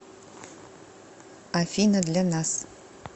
афина для нас